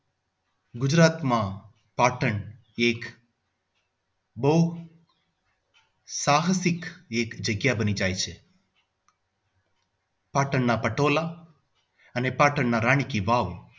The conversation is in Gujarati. ગુજરાતમાં પાટણમાં એક બહુ સાહસિક જગ્યા બની જાય છે. પાટણના પટોળા અને પાટણ ના રાણી કી વાવ